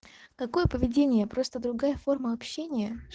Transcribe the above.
какое поведение просто другая форма общения